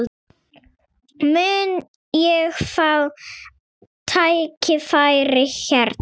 Mun ég fá tækifæri hérna?